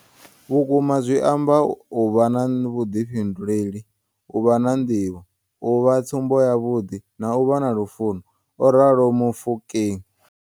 Vhukumazwi amba u vha na Vhuḓifhinduleli, u vha na Nḓivho, U vha tsumbo yavhuḓi na u vha na Lufuno, o ralo Mofokeng.